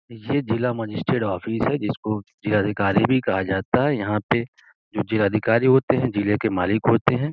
ये जिला magistrate (magistrate) office है जिसको जिला अधिकारी भी कहा जाता है यहाँ पे (पर) जो जिला अधिकारी होते हैं जिले के मालिक होते हैं।